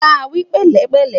bá wí pẹlẹ pele